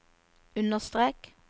understrek